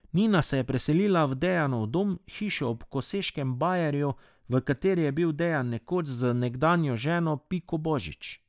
Nina se je preselila v Dejanov dom, hišo ob Koseškem bajerju, v kateri je bil Dejan nekoč z nekdanjo ženo Piko Božič.